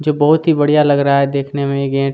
जो बहुत ही बढ़िया लग रहा है देखने में गेट --